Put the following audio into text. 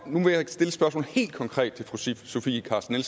nu vil jeg stille spørgsmålet helt konkret til fru sofie carsten